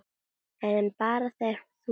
En bara þegar þú kemst.